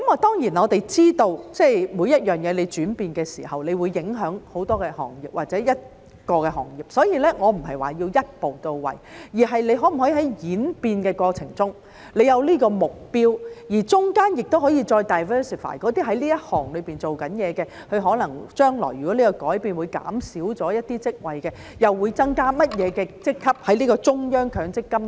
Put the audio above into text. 當然，我們知道每樣東西轉變的時候都會影響很多行業或一個行業，所以我不是說要一步到位，而是在演變的過程中可否有這個目標，而當中也可以再 diversify 那些在這行業工作的人，將來如果這改變可能會減少一些職位，中央強積金計劃又會增加甚麼職級呢？